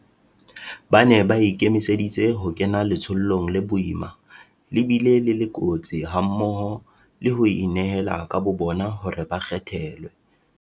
Ba ne ba ikemiseditse ho kena letsholong le boima le bile le le kotsi hammoho le ho inehela ka bobona hore ba kgethelwe.